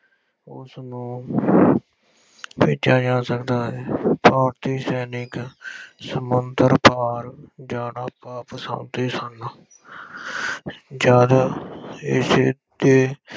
ਉਸਨੂੰ ਭੇਜਿਆ ਜਾ ਸਕਦਾ ਹੈ। ਭਾਰਤੀ ਸੈਨਿਕ ਸਮੁੰਦਰ ਪਾਰ ਜਾਣਾ, ਵਾਪਸ ਆਉਦੇ ਸਨ। ਜਦ ਇਸ 'ਤੇ